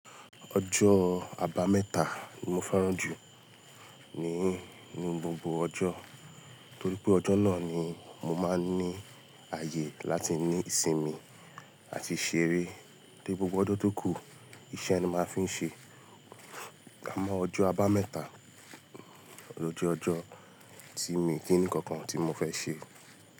Ọjọ́ àbámẹ́ta ni mo fẹ́ràn jù ni, ní gbogbo ọjọ́ torí pé ọjọ́ náà ni mo máa ń ní ààyè láti ní ìsinmi àti ṣeré tóri gbogbo ọjọ́ tó kù, iṣẹ́ ni a máa ń fi ń ṣe. Àmọ́ ọjọ́ àbámẹ́ta lo jẹ́ ọjọ́ tí mi kì í ní kankan tí mo fẹ́ ṣe.